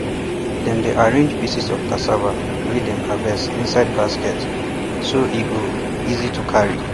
dem dey arrange pieces of of cassava wey dem harvest inside baskets so e go easy to carry